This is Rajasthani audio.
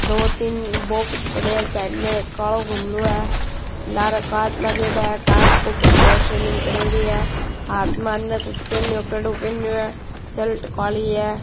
दो तीन बॉक्स पड़ेया है साइड में एक कालो गमलो है लारे कांच लागेडा है कांच के ऊपर फ़ोलस सीलिंग करेड़ी है हाथ में अने कुछ पहनयो कड़ो पहनयो है शर्ट काली है।